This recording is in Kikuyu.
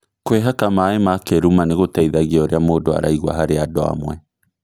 Kwĩhaka maĩ ma kĩruma nĩgũteithagia ũrĩa mũndũ araigua harĩ andũ amwe